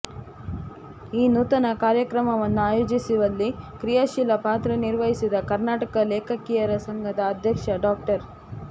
ಈ ನೂತನ ಕಾರ್ಯಕ್ರಮವನ್ನು ಆಯೋಜಿಸಿವಲ್ಲಿ ಕ್ರಿಯಾಶೀಲ ಪಾತ್ರ ನಿರ್ವಹಿಸಿದ ಕರ್ನಾಟಕ ಲೇಖಕಿಯರ ಸಂಘದ ಅಧ್ಯಕ್ಷರಾದ ಡಾ